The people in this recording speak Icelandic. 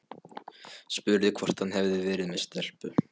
Spurði hvort hann hefði verið með stelpu.